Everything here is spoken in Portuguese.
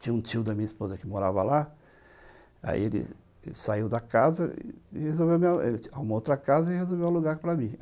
Tinha um tio da minha esposa que morava lá, aí ele saiu da casa, resolveu uma outra casa e resolveu alugar para mim.